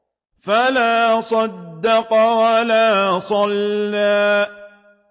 فَلَا صَدَّقَ وَلَا صَلَّىٰ